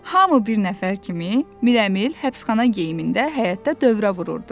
Hamı bir nəfər kimi, Mirəmil həbsxana geyimində həyətdə dövrə vururdu.